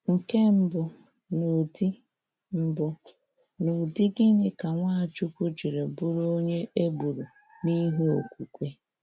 Nke mbụ, n'ụdị mbụ, n'ụdị gịnị ka Nwachukwu jiri bụrụ onye e gburu n'ihi okwukwe?